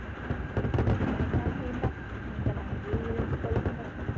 வேண்டாம் வேண்டாம் நீங்கள் அங்கே இருந்து கொள்ளுங்கள்